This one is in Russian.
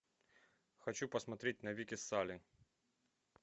хочу посмотреть навеки салли